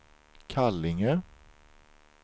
Kallinge